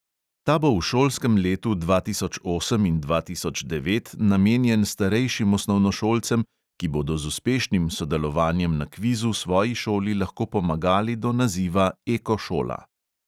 Ta bo v šolskem letu dva tisoč osem in dva tisoč devet namenjen starejšim osnovnošolcem, ki bodo z uspešnim sodelovanjem na kvizu svoji šoli lahko pomagali do naziva ekošola.